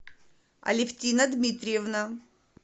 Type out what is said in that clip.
алевтина дмитриевна